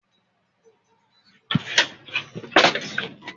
Àdùnní dáná àrò lánàá